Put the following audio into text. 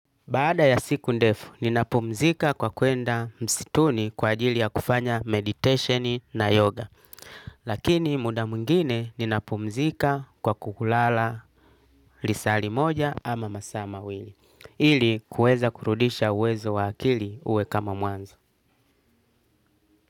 Baada ya siku ndefu, ninapumzika kwa kuenda msituni kwa ajili ya kufanya meditation na yoga, lakini muda mwingine ninapumzika kwa kulala lisali moja ama masaa mawili, ili kuweza kurudisha uwezo wa akili uwe kama mwanzo.